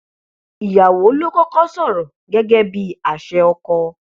ìyàwó ló kọkọ sọrọ gẹgẹ bíi àṣẹ ọkọ